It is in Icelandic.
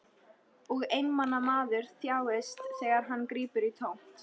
Og einmana maður þjáist þegar hann grípur í tómt.